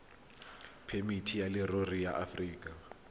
phemiti ya leruri ya aforika